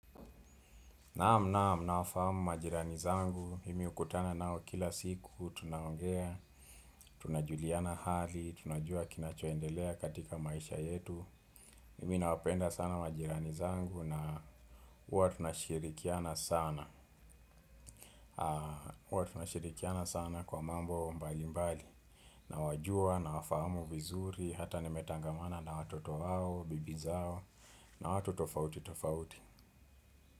Naam naam nafahamu majirani zangu, nimekutana nao kila siku, tunaongea, tunajuliana hali, tunajua kinachoendelea katika maisha yetu, mimi nawapenda sana majirani zangu na huwa tunashirikiana sana, huwa tunashirikiana sana kwa mambo mbali mbali, nawajua, nawafahamu vizuri, hata nimetangamana na watoto hao, bibi zao, na watu tofauti tofauti.